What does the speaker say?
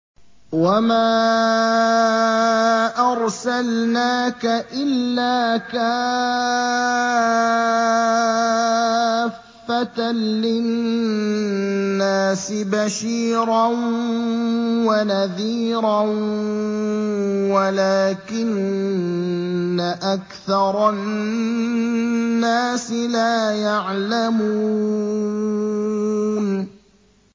وَمَا أَرْسَلْنَاكَ إِلَّا كَافَّةً لِّلنَّاسِ بَشِيرًا وَنَذِيرًا وَلَٰكِنَّ أَكْثَرَ النَّاسِ لَا يَعْلَمُونَ